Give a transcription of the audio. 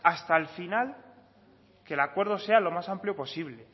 hasta el final que el acuerdo sea lo más amplio posible